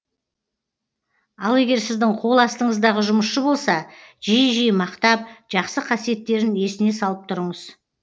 ал егер сіздің қол астыңыздағы жұмысшы болса жиі жиі мақтап жақсы қасиеттерін есіне салып тұрыңыз